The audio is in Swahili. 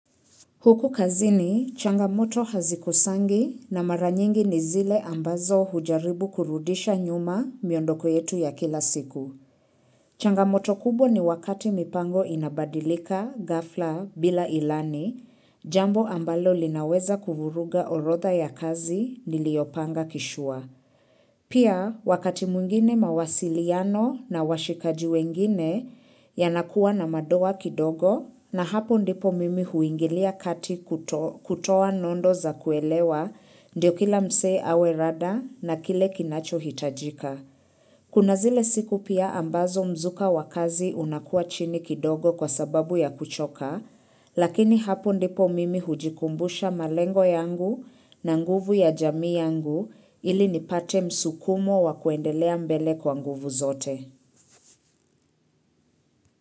Huku kazini, changamoto hazikosangi na mara nyingi ni zile ambazo hujaribu kurudisha nyuma miondoko yetu ya kila siku. Changamoto kubwa ni wakati mipango inabadilika, ghafla, bila ilani, jambo ambalo linaweza kuvuruga orotha ya kazi niliyopanga kishua. Pia wakati mwingine mawasiliano na washikaji wengine yanakuwa na madoa kidogo na hapo ndipo mimi huingilia kati kutoa nondo za kuelewa ndio kila msee awe rada na kile kinachohitajika. Kuna zile siku pia ambazo mzuka wa kazi unakua chini kidogo kwa sababu ya kuchoka, lakini hapo ndipo mimi hujikumbusha malengo yangu na nguvu ya jamii yangu ili nipate msukumo wa kuendelea mbele kwa nguvu zote.